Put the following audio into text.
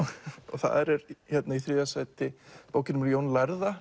þar er þriðja sæti bókin um Jón lærða